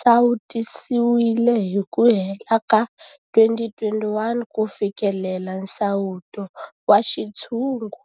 sawutisiwile hi ku hela ka 2021 ku fikelela nsawuto wa xintshungu.